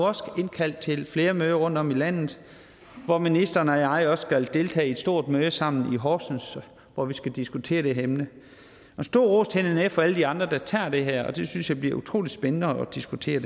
også indkaldt til flere møder rundtom i landet hvor ministeren og jeg også skal deltage i et stort møde sammen i horsens hvor vi skal diskutere det her emne en stor ros til nnf og alle de andre der tager det her op og det synes jeg bliver utrolig spændende at diskutere